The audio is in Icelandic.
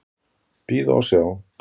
Bíða og sjá.